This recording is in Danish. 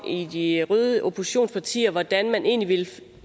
i de røde oppositionspartier om hvordan man egentlig vil